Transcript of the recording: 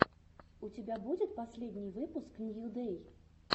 у тебя будет последний выпуск нью дэй